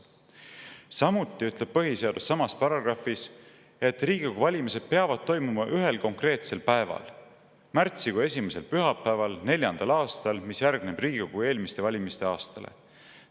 Samuti ütleb põhiseadus samas paragrahvis, et Riigikogu valimised peavad toimuma ühel konkreetsel päeval: märtsikuu esimesel pühapäeval neljandal aastal, mis järgneb Riigikogu eelmiste valimiste aastale.